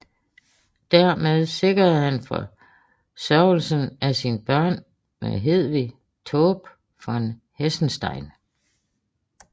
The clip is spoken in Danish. Dermed sikrede han forsørgelsen af sine børn med Hedvig Taube von Hessenstein